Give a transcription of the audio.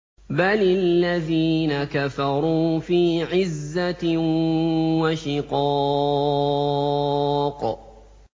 بَلِ الَّذِينَ كَفَرُوا فِي عِزَّةٍ وَشِقَاقٍ